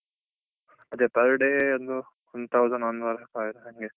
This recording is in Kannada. ಅದೇ per day ಒಂದು one thousand per ಹಂಗೆ